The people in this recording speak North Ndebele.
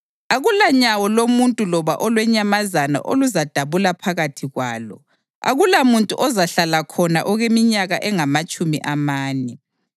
Akulanyawo lomuntu loba olwenyamazana oluzadabula phakathi kwalo; akulamuntu ozahlala khona okweminyaka engamatshumi amane.